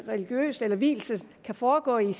religiøst eller vielsen kan foregå i